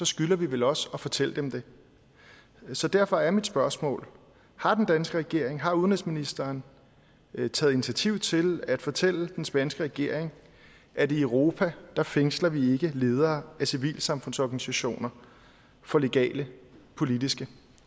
skylder vi vel også at fortælle dem det så derfor er mit spørgsmål har den danske regering har udenrigsministeren taget initiativ til at fortælle den spanske regering at i europa fængsler vi ikke ledere af civilsamfundsorganisationer for legale politiske